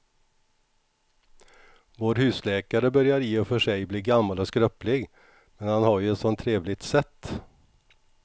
Vår husläkare börjar i och för sig bli gammal och skröplig, men han har ju ett sådant trevligt sätt!